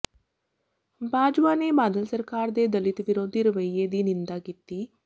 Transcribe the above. ਬਾਜਵਾ ਨੇ ਬਾਦਲ ਸਰਕਾਰ ਦੇ ਦਲਿਤ ਵਿਰੋਧੀ ਰਵੱਈਏ ਦੀ ਨਿੰਦਾ ਕੀਤੀ